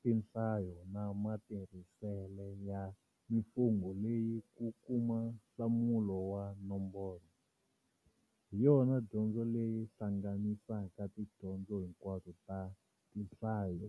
tinhlayo na matirhisele ya mimfungo leyi ku kuma nhlamulo wa nomboro, hiyona dyondzo leyi hlanganisaka tidyondzo hinkwato ta Tinhlayo.